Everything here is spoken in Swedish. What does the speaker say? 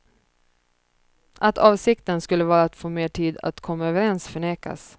Att avsikten skulle vara att få mer tid för att komma överens förnekas.